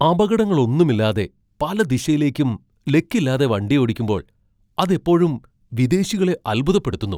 അപകടങ്ങളൊന്നുമില്ലാതെ പല ദിശയിലേക്കും ലക്കില്ലാതെ വണ്ടിയോടിക്കുമ്പോൾ അത് എപ്പോഴും വിദേശികളെ അൽഭുതപ്പെടുത്തുന്നു.